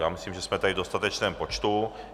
Já myslím, že jsme tady v dostatečném počtu.